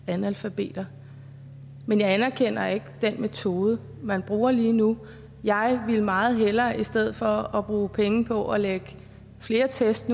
analfabeter men jeg anerkender ikke den metode man bruger lige nu jeg ville meget hellere i stedet for at bruge penge på at lægge flere test